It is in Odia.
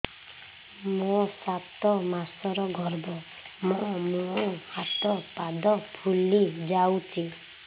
ମୋ ସାତ ମାସର ଗର୍ଭ ମୋ ମୁହଁ ହାତ ପାଦ ଫୁଲି ଯାଉଛି